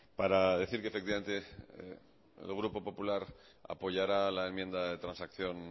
para decir que efectivamente el grupo popular apoyará la enmienda de transacción